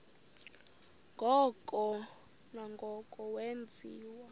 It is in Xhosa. ngoko nangoko wenziwa